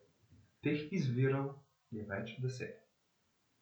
Teh izvirov je več deset.